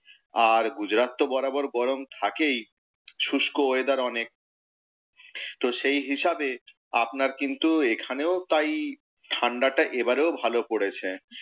আর গুজরাত তো বরাবর গরম থাকেই, শুষ্ক weather অনেক। তো সেই হিসাবে আপনার কিন্তু এখানেও তাই ঠাণ্ডাটা এবারেও ভালই পড়েছে।